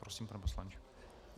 Prosím, pane poslanče.